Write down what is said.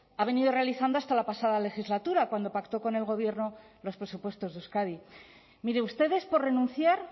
ha venido realizando hasta la pasada legislatura cuando pactó con el gobierno los presupuestos de euskadi mire ustedes por renunciar